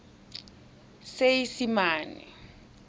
seesimane